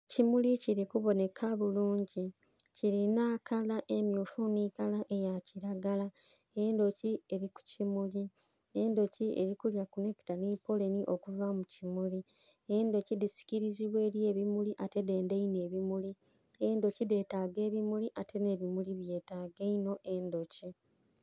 Kimuli kili kubonheka bulungi. Kilina kala emmyufu nhi kala eya kilagala. Endhuki eli ku kimuli. Endhuki eli kulya ku nectar nhi pollen okuva mu kimuli. Endhuki dhisikilizibwa eli ebimuli ate dhendha inho ebimuli. Endhuki dheetaga ebimuli, ate nh'ebimuli byetaaga inho endhuki.